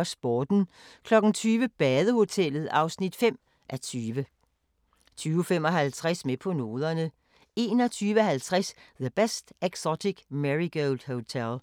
19:45: Sporten 20:00: Badehotellet (5:20) 20:55: Med på noderne 21:50: The Best Exotic Marigold Hotel